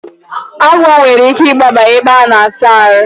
Agwọ nwere ike igbaba n'ime ebe a na-asa ahụ.